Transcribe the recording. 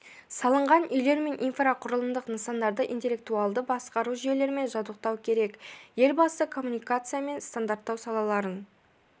салынған үйлер мен инфрақұрылымдық нысандарды интеллектуалды басқару жүйелерімен жабдықтау керек елбасы коммуникация мен стандарттау салаларын